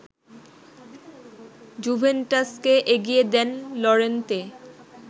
জুভেন্টাসকে এগিয়ে দেন লরেন্তে